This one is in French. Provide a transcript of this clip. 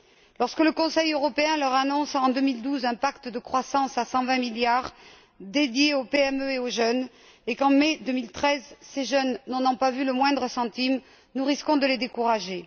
Lorsque le Conseil européen leur annonce, en 2012, un pacte de croissance à 120 milliards dédié aux PME et aux jeunes, et qu'en mai 2013, ces jeunes n'en n'ont pas vu le moindre centime, nous risquons de les décourager.